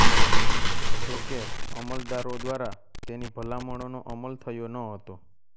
જોકે અમલદારો દ્વારા તેની ભલામણોનો અમલ થયો ન હતો